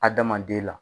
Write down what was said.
Adamaden la